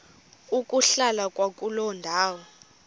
ukuhlala kwakuloo ndawo